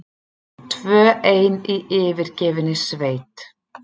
Tvö ein í yfirgefinni sveit.